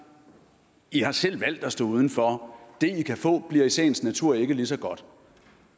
i har selv valgt at stå uden for det i kan få bliver i sagens natur ikke lige så godt